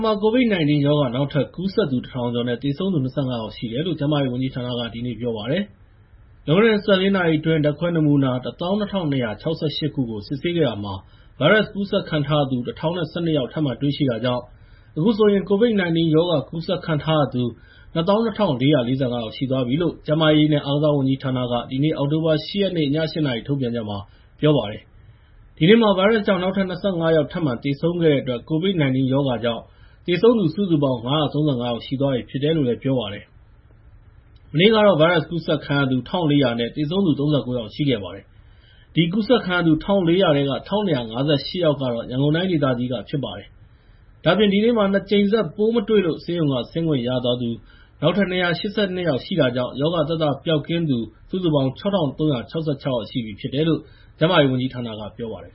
မှာ ကိုဗစ် ၁၉ ရောဂါ နောက်ထပ် ကူးစက်သူ ၁,၀၀၀ ကျော် နဲ့ သေဆုံးသူ ၂၅ ယောက်ရှိတယ်လို့ ကျန်းမာရေးဝန်ကြီးဌာနက ပြောပါတယ်။ လွန်ခဲ့တဲ့ ၂၄ နာရီအတွင်း ဓါတ်ခွဲနမူနာ ၁၂,၂၆၈ ခုကို စစ်ဆေးခဲ့တာမှာ ဗိုင်းရပ်စ်ကူးစက်ခံထားရသူ ၁,၀၁၂ ယောက်ထပ်မံတွေရှိခဲ့တာကြောင့် အခုဆိုရင် ကိုဗစ် ၁၉ ရောဂါကူးစက်ခံထားရသူ ၂၂,၄၄၅ ယောက်ရှိသွားပြီလို့ ကျန်းမာရေးနဲ့ အားကစားဝန်ကြီးဌာနက ဒီနေ့ အောက်တိုဘာလ ၈ ရက် ည ၈ နာရီမှာ ထုတ်ပြန်ထားပါတယ်။ ဒီနေ့မှာ ဗိုင်းရပ်စ်ကြောင့် နောက်ထပ် ၂၅ ယောက် သေဆုံးခဲ့တဲ့အတွက် ကိုဗစ် ၁၉ ရောဂါကြောင့် သေဆုံးသူစုစုပေါင်း ၅၃၅ ယောက် ရှိသွားပြီဖြစ်တယ်လို့ ပြောပါတယ်။ မနေ့ကတော့ ဗိုင်းရပ်စ်ကူးစက်ခံရသူ ၁,၄၀၀ နဲ့ သေဆုံးသူ ၃၉ ယောက် ရှိခဲ့ပါတယ်။ အဲဒီကူးစက်ခံရသူ ၁,၄၀၀ ထဲက ၁,၂၅၈ ယောက်က ရန်ကုန်တိုင်းဒေသကြီးကဖြစ်ပါတယ်။ ဒါ့အပြင် ဒီနေ့မှာ ၂ ကြိမ် ဆက် ပိုးမတွေ့လို့ ဆေးရုံက ဆင်းခွင့်ရသွားသူ နောက်ထပ် ၂၈၂ ယောက်ရှိတာကြောင့်၊ ရောဂါသက်သာပျောက်ကင်းသူ ၆,၃၆၆ ယောက်ရှိပြီဖြစ်တယ်လို့ ကျန်းမာရေးဝန်ကြီးဌာနကပြောပါတယ်